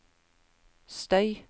støy